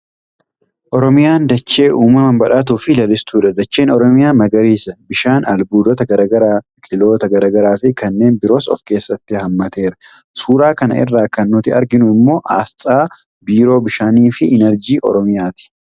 Oromiyaan dachee uumamaan badhaatuu fi lalistuudha. Dacheen Oromiyaa magariisa. Bishaan, albuudota gara garaa, biqiltoota gara garaa fi kanneen biroos of keessatti haammateera. Suuraa kana irraa kan nuti arginu immoo aasxaa biroo bishaanii fi innarjii Oromiyaati.